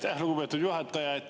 Aitäh, lugupeetud juhataja!